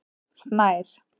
Snær